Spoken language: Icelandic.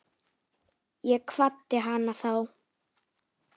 Ég kvaddi hana þá.